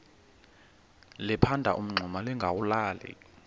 liphanda umngxuma lingawulali